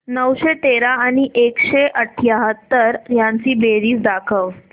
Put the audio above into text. नऊशे तेरा आणि एकशे अठयाहत्तर यांची बेरीज दाखव